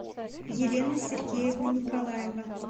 елена сергеевна николаева